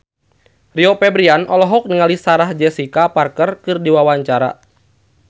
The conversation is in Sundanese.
Rio Febrian olohok ningali Sarah Jessica Parker keur diwawancara